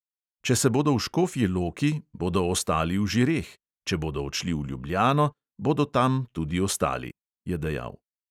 "Če se bodo v škofji loki, bodo ostali v žireh, če bodo odšli v ljubljano, bodo tam tudi ostali," je dejal.